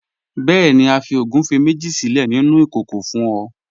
Bẹẹ̀ni, a fi ogúnfẹ méjì sílẹ̀ nínu ikókò fún ọ.